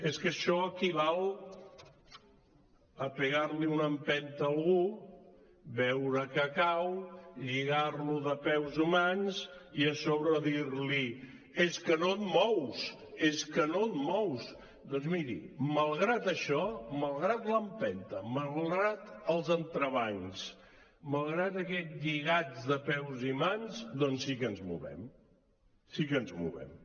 és que això equival a donar li una empenta a algú veure que cau lligar lo de peus i mans i a sobre dir li és que no et mous és que no et mous doncs miri malgrat això malgrat l’empenta malgrat els entrebancs malgrat aquests lligats de peus i mans sí que ens movem sí que ens movem